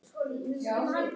Heimir: Hvað segir þú, Logi?